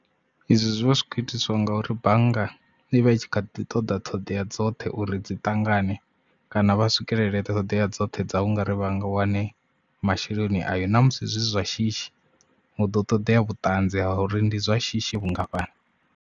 Izwo zwi vha zwi kho itiswa ngauri bannga ivha i tshi kha ḓi ṱoḓa ṱhoḓea dzoṱhe uri dzi ṱangane kana vha swikelele ṱhodea dzoṱhe dza ungari vhanga wane masheleni ayo ṋamusi zwi zwa shishi hu ḓo ṱoḓea vhutanzi ha uri ndi zwa shishi vhungafhani.